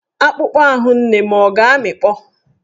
Akpụkpọ ahụ nne m ọ̀ ga-amịkpọ?